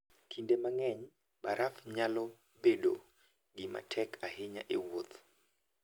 Kinde mang'eny, baraf nyalo bedo gima tek ahinya e wuoth.